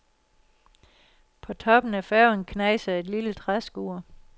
På toppen af færgen knejser et lille træskur.